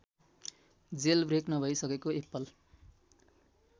jailbreak नभइसकेको Apple